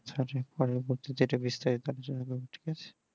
পরের বাড়ে বিস্তারিত ভাবে কথা হবে